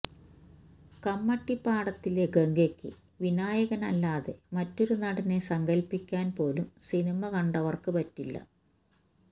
കമ്മട്ടിപ്പാടത്തിലെ ഗംഗയ്ക്ക് വിനായകനല്ലാതെ മറ്റൊരു നടനെ സങ്കല്പിക്കാന് പോലും സിനിമ കണ്ടവര്ക്ക് പറ്റില്ല